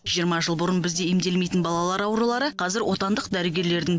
жиырма жыл бұрын бізде емделмейтін балалар аурулары қазір отандық дәрігерлердің